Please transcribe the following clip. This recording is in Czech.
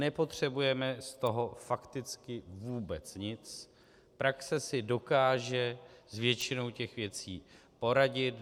Nepotřebujeme z toho fakticky vůbec nic, praxe si dokáže s většinou těch věcí poradit.